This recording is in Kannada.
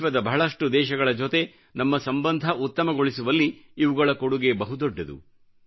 ವಿಶ್ವದ ಬಹಳಷ್ಟು ದೇಶಗಳ ಜೊತೆ ನಮ್ಮ ಸಂಬಂಧ ಉತ್ತಮಗೊಳಿಸುವಲ್ಲಿ ಇವುಗಳ ಕೊಡುಗೆ ಬಹು ದೊಡ್ಡದು